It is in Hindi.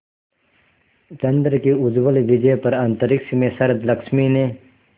चंद्र की उज्ज्वल विजय पर अंतरिक्ष में शरदलक्ष्मी ने